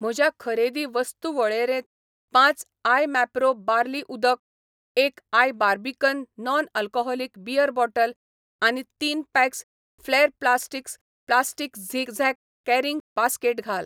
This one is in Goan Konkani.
म्हज्या खरेदी वस्तू वळेरेंत पांच आय मॅप्रो बार्ली उदक, एक आय Barbican non alcoholic beer bottle आनी तीन पॅक्स फ्लॅर plastics plastic zigzag carrying basket घाल.